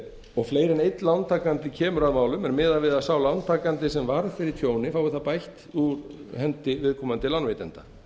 og fleiri en einn lántakandi kemur að málum er miðað við að sá lántakandi sem varð fyrir tjóni fái það bætt úr hendi viðkomandi lánveitanda